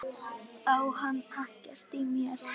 Á hann ekkert í mér?